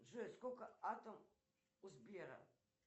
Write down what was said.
джой сколько атом у сбера